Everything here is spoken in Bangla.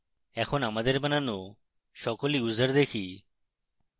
এখন আমাদের বানানো সকল users দেখি